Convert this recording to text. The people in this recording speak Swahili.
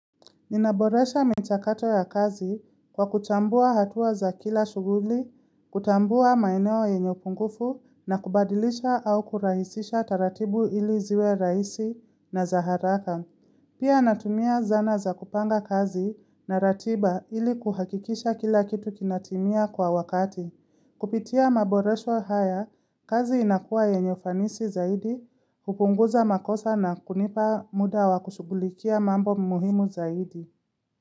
Ninaboresha mechakato ya kazi kwa kuchambua hatua za kila shughuli, kutambua maineo yenye upungufu na kubadilisha au kurahisisha taratibu ili ziwe raisi na zaharaka. Pia natumia zana za kupanga kazi na ratiba ili kuhakikisha kila kitu kinatimia kwa wakati. Kupitia maboresho haya, kazi inakuwa yenye ufanisi zaidi, kupunguza makosa na kunipa muda wa kushugulikia mambo muhimu zaidi.